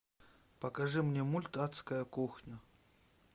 покажи мне мульт адская кухня